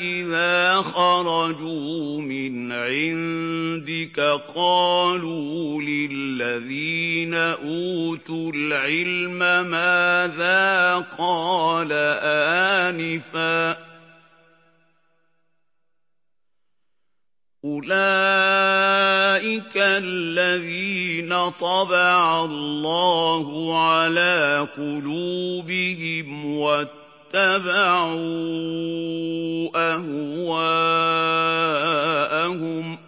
إِذَا خَرَجُوا مِنْ عِندِكَ قَالُوا لِلَّذِينَ أُوتُوا الْعِلْمَ مَاذَا قَالَ آنِفًا ۚ أُولَٰئِكَ الَّذِينَ طَبَعَ اللَّهُ عَلَىٰ قُلُوبِهِمْ وَاتَّبَعُوا أَهْوَاءَهُمْ